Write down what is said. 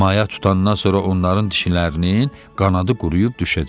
Maya tutandan sonra onların dişinin qanadı quruyub düşəcək.